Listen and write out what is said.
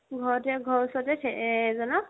ঘৰৰ ওচৰৰে এজনক